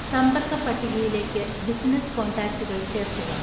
സമ്പർക്ക പട്ടികയിലേക്ക് ബിസിനസ്സ് കോൺടാക്റ്റുകൾ ചേർക്കുക